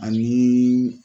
Ani.